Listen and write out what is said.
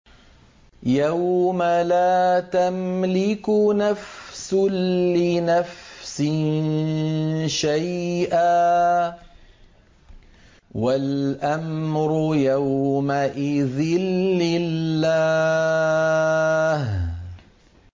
يَوْمَ لَا تَمْلِكُ نَفْسٌ لِّنَفْسٍ شَيْئًا ۖ وَالْأَمْرُ يَوْمَئِذٍ لِّلَّهِ